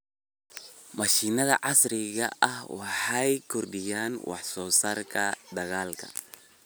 Mashiinnada casriga ahi waxay kordhiyaan wax soo saarka dalagga.